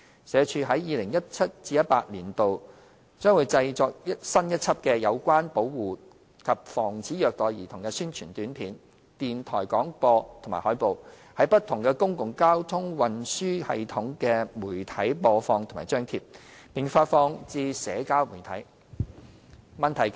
社署在 2017-2018 年度將製作新一輯有關保護及防止虐待兒童的宣傳短片、電台廣播及海報，於不同公共交通運輸系統的媒體播放及張貼，並發放至社交媒體。